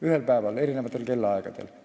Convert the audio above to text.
Ühel päeval, aga erinevatel kellaaegadel.